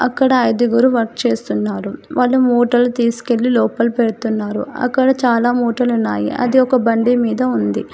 అక్కడ ఐదుగురు వర్క్ చేస్తున్నారు వాళ్ళు మూటలు తీసుకెళ్లి లోపల పెడుతున్నారు అక్కడ చాలా మోటర్లు ఉన్నాయి అది ఒక బండి మీద ఉంది.